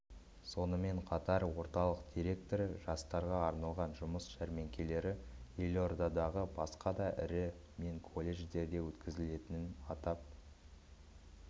сонымен қатар орталық директоры жастарға арналған жұмыс жәрмеңкелері елордадағы басқа да ірі мен колледждерде өткізілетінін атап